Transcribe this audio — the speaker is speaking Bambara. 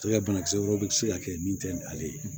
Cɛ ka banakisɛ wɛrɛw bɛ se ka kɛ min tɛ ni ale ye